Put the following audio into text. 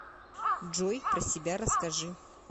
джой про себя расскажи